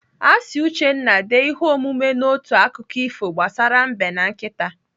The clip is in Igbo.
Asị Uchenna dee ihe omume n'otu akụkọ ifo gbasara Mbe na nkịta.